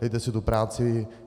Dejte si tu práci.